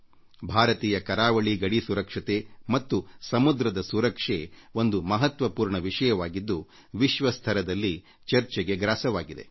ಭಾರತೀಯ ಕರಾವಳಿ ಗಡಿ ಸುರಕ್ಷತೆ ಮತ್ತು ಸಮುದ್ರದ ಸುರಕ್ಷೆ ಒಂದು ಮಹತ್ವ ಪೂರ್ಣ ವಿಷಯವಾಗಿದ್ದು ವಿಶ್ವ ಮಟ್ಟದಲ್ಲಿ ಚರ್ಚೆಗೆ ಗ್ರಾಸವಾಗಿದೆ